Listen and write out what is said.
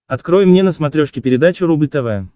открой мне на смотрешке передачу рубль тв